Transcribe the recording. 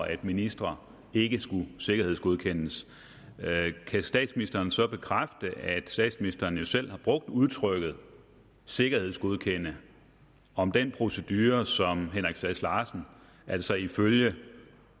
at ministre ikke skal sikkerhedsgodkendes kan statsministeren så bekræfte at statsministeren jo selv har brugt udtrykket sikkerhedsgodkendelse om den procedure som henrik sass larsen altså ifølge